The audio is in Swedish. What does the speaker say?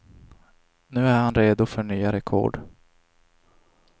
Nu är han redo för nya rekord.